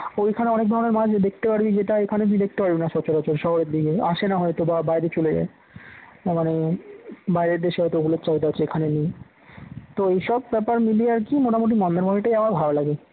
ওখানে অনেক ধরনের মাছ দেখতে পারবি। যেটা এখানে তুই দেখতে পারবিনা সচরাচর শহরের দিকে আসে না হয়তো বা বাইরে চলে যায় না মানে বাইরে দেশে হয়তো ওগুলোর চাহিদা আছে এখানে নেই তো এইসব ব্যাপার মিলিয়ে আর কি মোটামুটি মন্দারমনিটাই আমার ভালো লাগে।